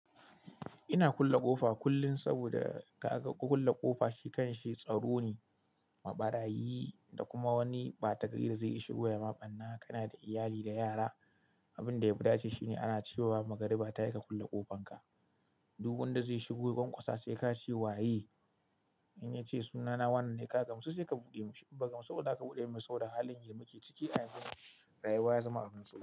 Ina kulle ƙofa kullum saboda ka ga kulle ƙofa shi kanshi tsaro ne, maɓarayi da kuma wani ɓata gari zai iya shigo ya maɓanna ka na da iyali da yara. Abin da ya fi dace shine ana cewa ba magari ba ta ya ka kulle ƙofanka. Duk wanda zai shigo banƙusa sai ka ce wa "waye?" In ya ce sunana wannan ne, ka gamsu sai ka buɗe mashi. Ba gamsu ba za ka buɗe masa ba, sau da halin yake muke ciki a cikin rayuwa ya zama abun tsoro.